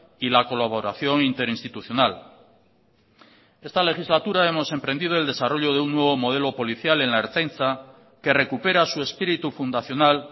y la colaboración interinstitucional esta legislatura hemos emprendido el desarrollo de un nuevo modelo policial en la ertzaintza que recupera su espíritu fundacional